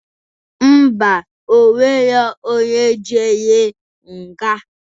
Ḿbà, onwero onye jere nga